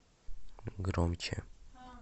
громче